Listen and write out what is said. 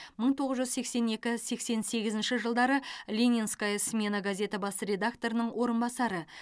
мың тоғыз жүз сексен екі сексен сегізінші жылдары ленинская смена газеті бас редакторының орынбасары